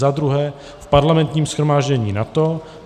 za druhé v Parlamentním shromáždění NATO;